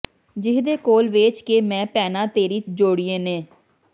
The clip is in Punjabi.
ਜੀਹਦੇ ਕੋਲ ਵੇਚ ਕੇ ਮੈਂ ਭੈਣਾਂ ਤੇਰੀ ਜੋੜੀਏ ਨੇ